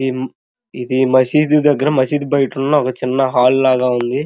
ఇది ఇది మసీద్ దగ్గర మసీద్ బయిట ఉన్న చిన్న హల్ లాగా ఉంది.